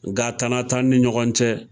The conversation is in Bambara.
Nga tana t'an ni ɲɔgɔn cɛ.